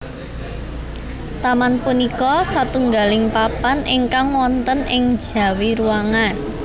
Taman punika satunggaling papan ingkang wonten ing njawi ruangan